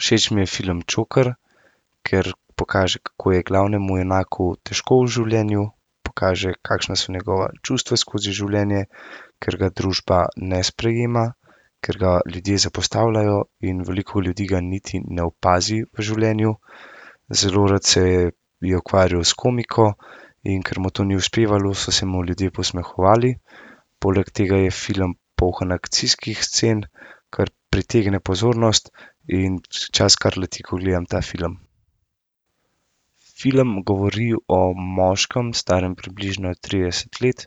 Všeč mi je film Joker. Ker pokaže, kako je glavnemu junaku težko v življenju. Pokaže, kakšna so njegova čustva skozi življenje, ker ga družba ne sprejema. Ker ga ljudje zapostavljajo in veliko ljudi ga niti ne opazi v življenju. Zelo rad se je ukvarjal s komiko, in ker mu to ni uspevalo, so se mu ljudje posmehovali. Poleg tega je film poln akcijskih scen, kar pritegne pozornost in čas kar leti, ko gledam ta film. Film govori o moškem, starem približno trideset let,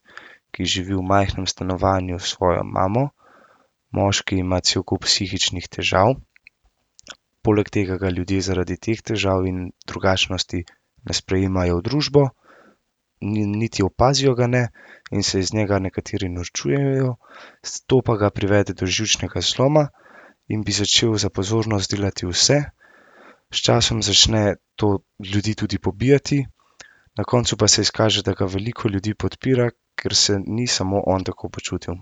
ki živi v majhnem stanovanju s svojo mamo. Moški ima cel kup psihičnih težav. Poleg tega ga ljudje zaradi teh težav in drugačnosti ne sprejemajo v družbo. niti opazijo ga ne in se iz njega nekateri norčujejo. to pa ga privede do živčnega zloma in bi začel za pozornost delati vse. S časom začne to ljudi tudi pobijati. Na koncu pa se izkaže, da ga veliko ljudi podpira, ker se ni samo on tako počutil.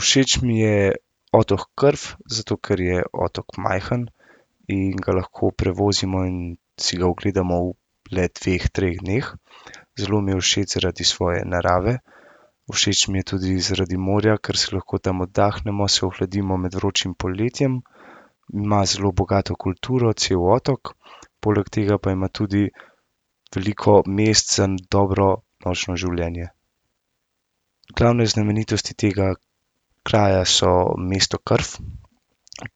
Všeč mi je otok Krf, zato ker je otok majhen in ga lahko prevozimo in si ga ogledamo v le dveh, treh dneh. Zelo mi je všeč zaradi svoje narave. Všeč mi je tudi zaradi morja, ker si lahko tam oddahnemo, se ohladimo med vročim poletjem. Ima zelo bogato kulturo cel otok. Poleg tega pa ima tudi veliko mest in dobro nočno življenje. Glavne znamenitosti tega kraja so mesto Krf,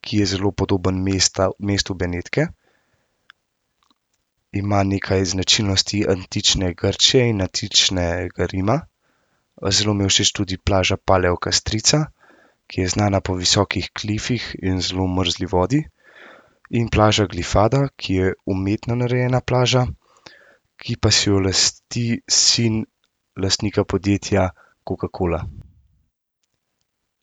ki je zelo podobno mestu Benetke. Ima nekaj značilnosti antične Grčije in antičnega Rima. zelo mi je všeč tudi plaža Paleokastrica, ki je znana po visokih klifih in zelo mrzli vodi. In plaža Glifada, ki je umetno narejena plaža, ki pa si jo lasti sin lastnika podjetja Coca-Cola.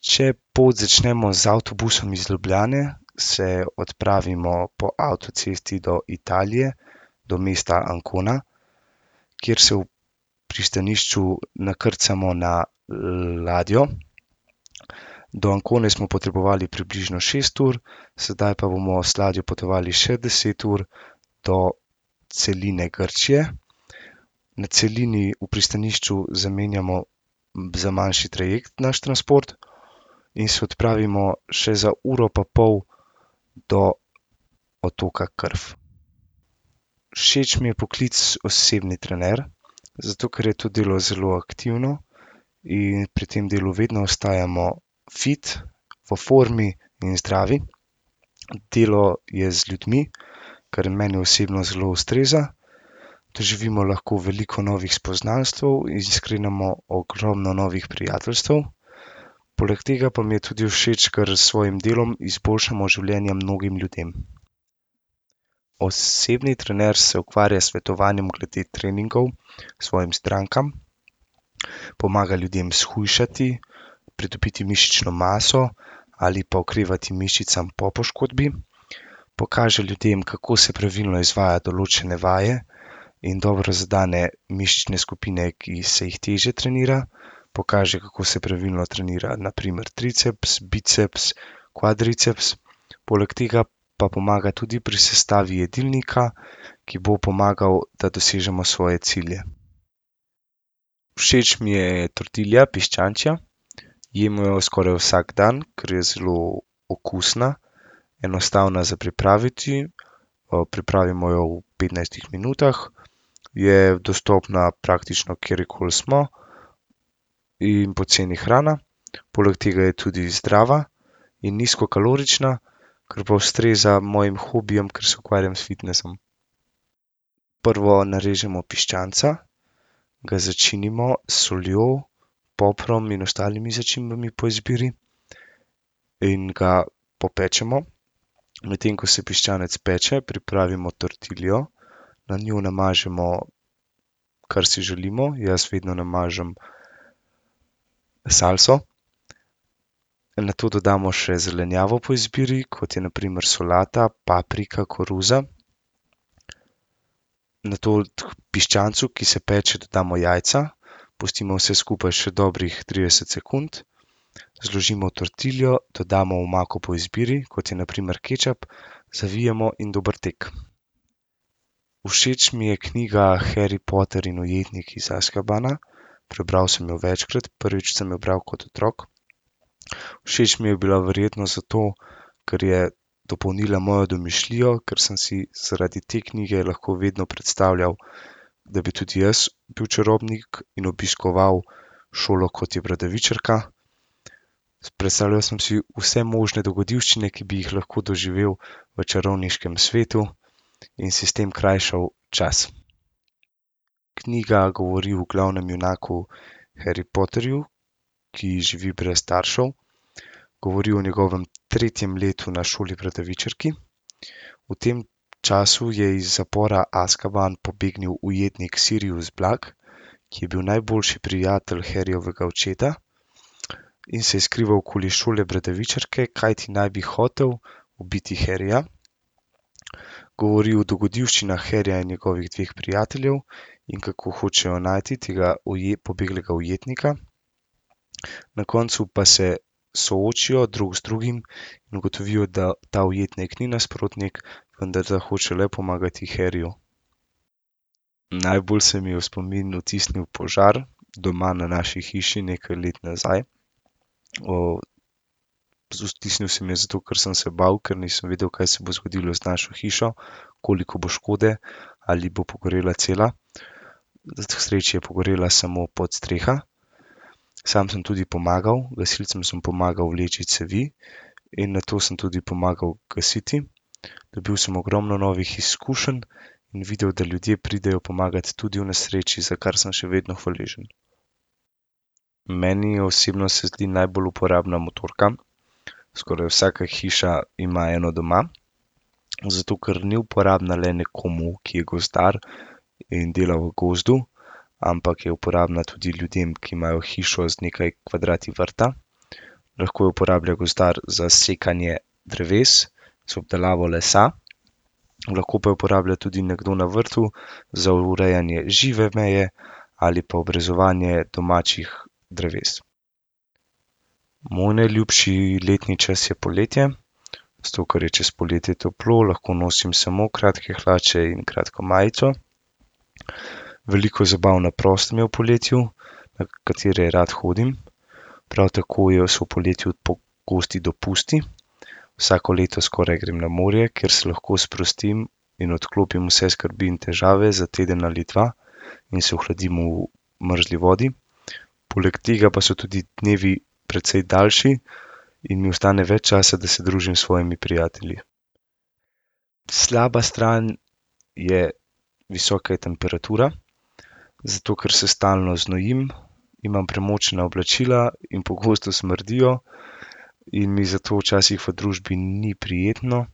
Če pot začnemo z avtobusom iz Ljubljane, se odpravimo po avtocesti do Italije do mesta Ancona. Kjer se v pristanišču nakrcamo na ladjo. Do Ancone smo potrebovali približno šest ur, sedaj pa bomo z ladjo potovali še deset ur do celine Grčije. Na celini v pristanišču zamenjamo za manjši trajekt naš transport. In se odpravimo še za uro pa pol do otoka Krf. Všeč mi je poklic osebni trener. Zato ker je to delo zelo aktivno in pri tem delu vedno ostajamo fit, v formi in zdravi. Delo je z ljudmi, kar meni osebno zelo ustreza. Doživimo lahko veliko novih poznanstev in sklenemo ogromno novih prijateljstev. Poleg tega mi je pa tudi všeč, ker s svojim delom izboljšamo življenje mnogim ljudem. Osebni trener se ukvarja s svetovanjem glede treningov svojim strankam. Pomaga ljudem shujšati, pretopiti mišično maso ali pa okrevati mišicam po poškodbi. Pokaže ljudem, kako se pravilno izvaja določene vaje. In dobro zadene mišične skupine, ki se jih težje trenira. Pokaže, kako se pravilno trenira na primer triceps, biceps, kvadriceps, poleg tega pa pomaga tudi pri sestavi jedilnika, ki bo pomagal, da dosežemo svoje cilje. Všeč mi je tortilija, piščančja. Jemo jo skoraj vsak dan, ker je zelo okusna, enostavna za pripraviti. pripravimo jo v petnajstih minutah. Je dostopna, praktično kjerkoli smo, in poceni hrana, poleg tega je tudi zdrava in nizkokalorična, kar pa ustreza mojim hobijem, ker se ukvarjam s fitnesom. Prvo narežemo piščanca, ga začinimo s soljo, poprom in ostalimi začimbami po izbiri in ga popečemo. Medtem ko se piščanec peče, pripravimo tortiljo, na njo namažemo, kar si želimo. Jaz vedno namažem salso. Nato dodamo še zelenjavo po izbiri, kot je na primer solata, paprika, koruza. Nato k piščancu, ki se peče, dodamo jajca, pustimo vse skupaj še dobrih trideset sekund, zložimo tortiljo, dodamo omako po izbiri, kot je na primer kečap, zavijemo in dober tek. Všeč mi je knjiga Harry Potter in jetnik iz Azkabana. Prebral sem jo večkrat, prvič sem jo bral kot otrok. Všeč mi je bila verjetno zato, ker je dopolnila mojo domišljijo, ker sem si zaradi te knjige lahko vedno predstavljal, da bi tudi jaz bil čarovnik in obiskoval šolo, kot je Bradavičarka. Predstavljal sem si vse možne dogodivščine, ki bi jih lahko doživel v čarovniškem svetu. In si s tem krajšal čas. Knjiga govori o glavnem junaku Harry Potterju, ki živi brez staršev. Govori o njegovem tretjem letu na šoli Bradavičarki, v tem času je iz zapora Azkaban pobegnil ujetnik Sirius Blak, ki je bil najboljši prijatelj Harryjevega očeta in se je skrival okoli šole Bradavičarke, kajti naj bi hotel ubiti Harryja. Govori o dogodivščinah Harryja in njegovih dveh prijateljev, in kako hočejo najti tega pobeglega ujetnika. Na koncu pa se soočijo drug z drugim in ugotovil, da ta ujetnik ni nasprotnik, vendar da hoče le pomagati Harryju. Najbolj se mi je v spomin vtisnil požar doma na naši hiši nekaj let nazaj. z vtisnil se mi je zato, ker sem se bal, ker nisem vedel, kaj se bo zgodilo z našo hišo. Koliko bo škode, ali bo pogorela cela. K sreči je pogorela samo podstreha, sam sem tudi pomagal, gasilcem sem pomagal vleči cevi in nato sem tudi pomagal gasiti. Dobil sem ogromno novih izkušenj in videl, da ljudje pridejo pomagat tudi v nesreči, za kar sem še vedno hvaležen. Meni je osebno se zdi najbolj uporabna motorka, skoraj vsaka hiša ima eno doma. Zato ker ni uporabna le nekomu, ki je gozdar in dela v gozdu, ampak je uporabna tudi ljudem, ki imajo hišo z nekaj kvadrati vrta. Lahko jo uporablja gozdar za sekanje dreves, za obdelavo lesa, lahko pa jo uporablja tudi nekdo na vrtu, za urejanje žive meje, ali pa obrezovanje domačih dreves. Moj najljubši letni čas je poletje. Zato ker je čez poletje toplo, lahko nosim samo kratke hlače in kratko majico. Veliko zabav na prostem je v poletju, na katere rad hodim. Prav tako je so v poletju pogosti dopusti. Vsako leto skoraj grem na morje, ker se lahko sprostim in odklopim vse skrbi in težave za teden ali dva in se ohladim v mrzli vodi. Poleg tega pa so tudi dnevi precej daljši in mi ostane več časa, da se družim s svojimi prijatelji. Slaba stran je visoka temperatura, zato ker se stalno znojim, imam premočena oblačila in pogosto smrdijo. In mi zato včasih v družbi ni prijetno,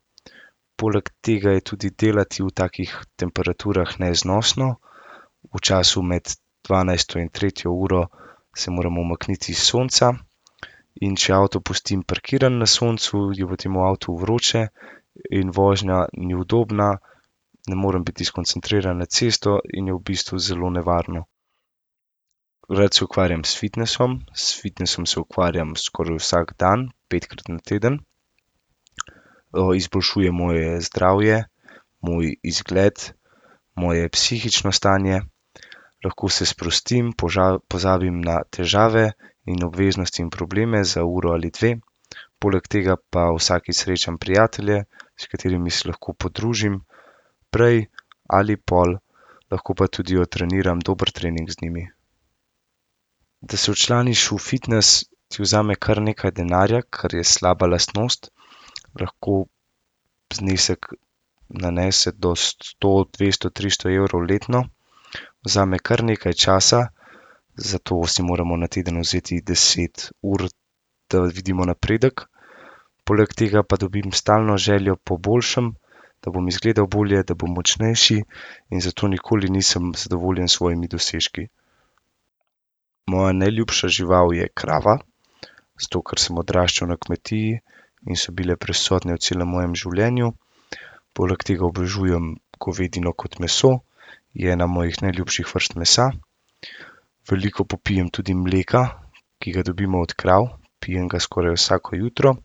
poleg tega je tudi delati v takih temperaturah neznosno. V času med dvanajsto in tretjo uro se moramo umakniti s sonca, in če avto pustim parkiran na soncu, je potem v avtu vroče in vožnja ni udobna, ne morem biti skoncentriran na cesto in je v bistvu zelo nevarno. Drugače se ukvarjam s fitnesom. S fitnesom se ukvarjam skoraj vsak dan, petkrat na teden. izboljšuje moje zdravje, moj izgled, moje psihično stanje, lahko se sprostim, pozabim na težave in obveznosti in probleme za uro ali dve. Poleg tega pa vsakič srečam prijatelje, s katerimi se lahko podružim. Prej ali pol lahko pa tudi odtreniram dober trening z njimi. Da se včlaniš v fitnes, ti vzame kar nekaj denarja, kar je slaba lastnost. Lahko znesek nanese do sto, dvesto, tristo evrov letno. Vzame kar nekaj časa, zato si moramo na teden vzeti deset ur, da vidimo napredek. Poleg tega pa dobim stalno željo bo boljšem, da bom izgledal bolje, da bom močnejši in zato nikoli nisem zadovoljen s svojimi dosežki. Moja najljubša žival je krava. Zato, ker sem odraščal na kmetiji in so bile prisotne v celem mojem življenju. Poleg tega obožujem govedino kot meso. Je ena mojih najljubših vrst mesa. Veliko popijem tudi mleka, ki ga dobimo od krav, pijem ga skoraj vsako jutro.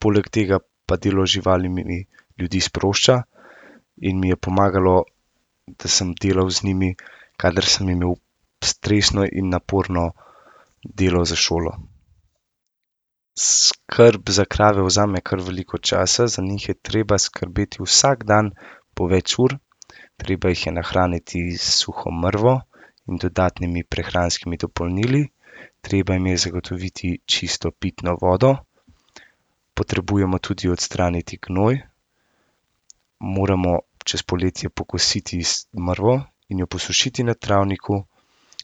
Poleg tega pa delo z živalmi ljudi sprošča in mi je pomagalo, da sem delal z njimi, kadar sem imel stresno in naporno delo za šolo. Skrb za krave vzame kar veliko časa, za njih je treba skrbeti vsak dan po več ur. Treba jih je nahraniti s suho mrvo in dodatnimi prehranskimi dopolnili. Treba jim je zagotoviti čisto pitno vodo. Potrebujemo tudi odstraniti gnoj. Moramo čez poletje pokositi mrvo in jo posušiti na travniku,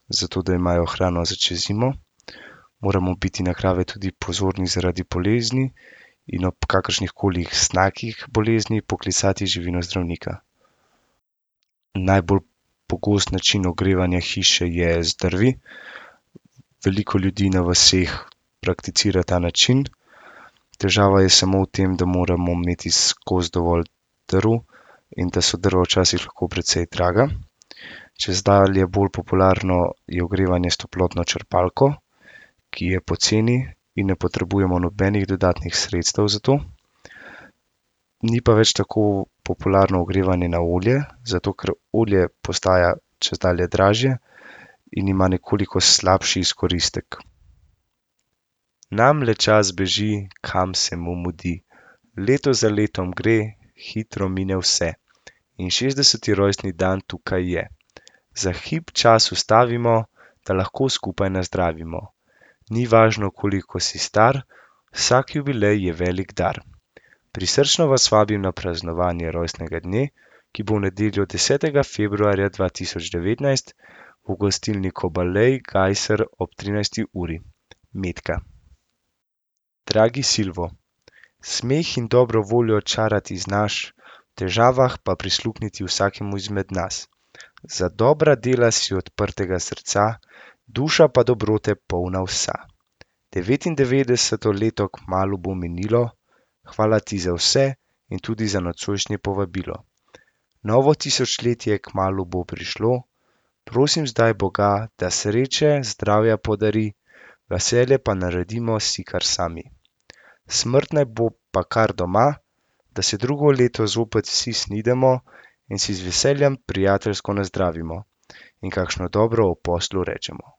zato da imajo hrano za čez zimo. Moramo biti na krave tudi pozorni zaradi bolezni in ob kakršnihkoli znakih bolezni poklicati živinozdravnika. Najbolj pogost način ogrevanja hiše je z drvmi. Veliko ljudi na vaseh prakticira ta način. Težava je samo v tem, da moramo imeti skozi dovolj drv in da so drva včasih lahko precej draga. Čezdalje bolj popularno je ogrevanje s toplotno črpalko, ki je poceni in ne potrebujemo nobenih dodatnih sredstev za to. Ni pa več tako popularno ogrevanje na olje, zato ker olje postaja čezdalje dražje in ima nekoliko slabši izkoristek. Nam le čas beži, kam se mu mudi. Leto za letom gre, hitro mine vse. In šestdeseti rojstni dan tukaj je. Za hip čas ustavimo, da lahko skupaj nazdravimo. Ni važno, koliko si star, vsak jubilej je velik dar. Prisrčno vas vabim na praznovanje rojstnega dne, ki bo v nedeljo desetega februarja dva tisoč devetnajst v gostilni Kobalej Kajser ob trinajsti uri. Metka. Dragi Silvo, smeh in dobro voljo čarati znaš, v težavah pa prisluhniti vsakemu izmed nas. Za dobra dela si odprtega srca, duša pa dobrote polna vsa. Devetindevetdeseto leto kmalu bo minilo, hvala ti za vse in tudi za nocojšnje povabilo. Novo tisočletje kmalu bo prišlo, prosim zdaj boga, da sreče, zdravja podari, veselje pa naredimo si kar sami. Smrt pa naj bo pa kar doma, da se drugo leto zopet vsi snidemo in si z veseljem prijateljsko nazdravimo in kakšno dobro o poslu rečemo.